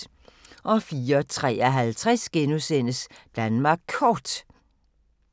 04:53: Danmark Kort *